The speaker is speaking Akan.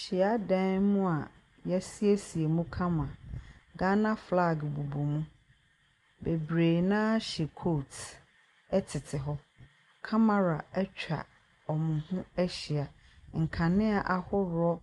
Suadan mu a yɛ asiesie mu kama. Ghana filag bobɔ mu. Bebree naa hyɛ kot ɛtete hɔ. Kamara etwa ɔmo ho ahyia. Nkanea ahorow